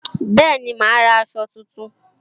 Bẹẹni, ma ra èsó tuntun